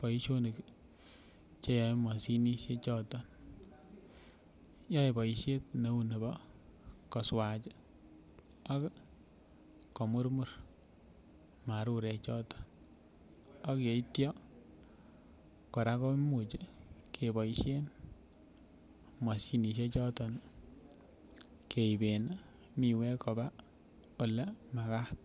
boisionik Che yoe mashinisiek choton yoe boisiet neu nebo koswach ak ko murmur marurechoto ak yeityo kora komuch keboisien mashinisiek choton keiben miwek koba Ole Magat